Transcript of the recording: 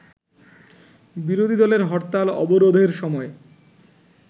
বিরোধী দলের হরতাল-অবরোধের সময়